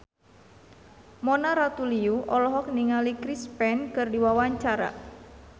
Mona Ratuliu olohok ningali Chris Pane keur diwawancara